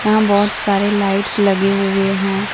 यहां बहुत सारे लाइट्स लगे हुए हैं।